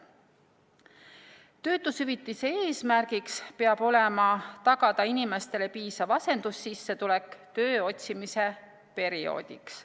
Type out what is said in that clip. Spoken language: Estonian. Töötushüvitise eesmärk peab olema inimestele piisava asendussissetuleku tagamine töö otsimise perioodiks.